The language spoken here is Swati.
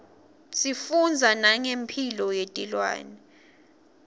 sifundza nangemphilo yetilwane